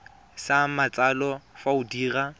sa matsalo fa o dira